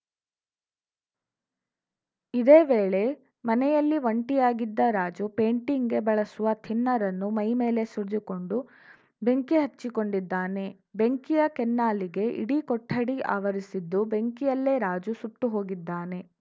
ಇದೇ ವೇಳೆ ಮನೆಯಲ್ಲಿ ಒಂಟಿಯಾಗಿದ್ದ ರಾಜು ಪೇಂಟಿಂಗ್‌ಗೆ ಬಳಸುವ ಥಿನ್ನರ್‌ ಅನ್ನು ಮೈ ಮೇಲೆ ಸುರಿದುಕೊಂಡು ಬೆಂಕಿ ಹಚ್ಚಿಕೊಂಡಿದ್ದಾನೆ ಬೆಂಕಿಯ ಕೆನ್ನಾಲಿಗೆ ಇಡೀ ಕೊಠಡಿ ಆವರಿಸಿದ್ದು ಬೆಂಕಿಯಲ್ಲೇ ರಾಜು ಸುಟ್ಟು ಹೋಗಿದ್ದಾನೆ